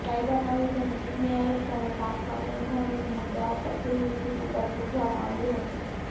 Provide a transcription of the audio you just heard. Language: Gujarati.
કાયદા કમિશનને ચૂંટણી આયોગ સામે પાંચ સંવૈધાનિક મુદ્દાઓ પર તેની સ્થિતિ પર પૂછવામાં આવ્યું હતું